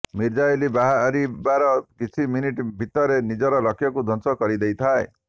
missile ବାହାରିବାର କିଛି minute ଭିତରେ ନିଜର ଲକ୍ଷକୁ ଧ୍ବଂସ କରିଦେଇଥାଏ